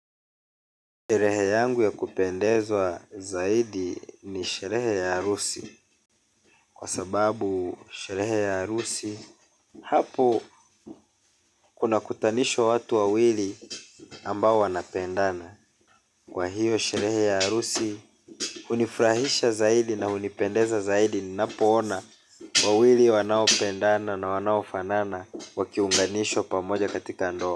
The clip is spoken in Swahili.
Sherehe yangu ya kupendezwa zaidi ni sherehe ya arusi. Kwa sababu sherehe ya arusi hapo kunakutanishwa watu wawili ambao wanapendana. Kwa hiyo sherehe ya arusi hunifrahisha zaidi na unipendeza zaidi. Ninapoona wawili wanaopendana na wanaofanana wakiunganishwa pamoja katika ndoa.